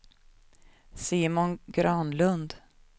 Simon Granlund